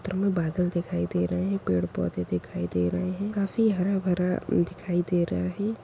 और बादल दिखाई दे रहे हैं पेड़ पौधे दिखाई दे रहे हैं काफी हरा भरा दिखाई दे रहा है।